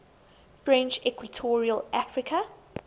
french equatorial africa